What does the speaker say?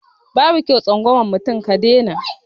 Babu kyau tsangwama mutum ka dai na